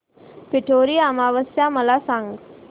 पिठोरी अमावस्या मला सांग